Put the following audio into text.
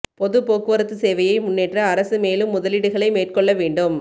பொது போக்குவரத்து சேவையை முன்னேற்ற அரசு மேலும் முதலீடுகளை மேற்கொள்ள வேண்டும்